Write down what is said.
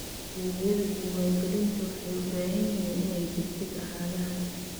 Adeegyada diiwaangelinta waxay u baahan yihiin inay degdeg ahaadaan.